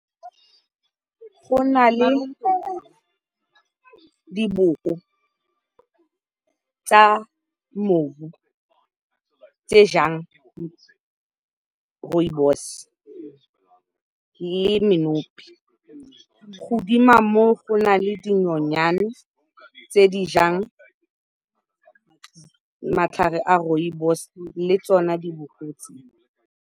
Go na le diboko tsa mmu tse di jang rooibos le menopi. Godimo ga moo go na le dinonyane tse di jang matlhare a rooibos le tsona diboko tse.